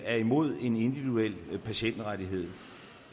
er imod en individuel patientrettighed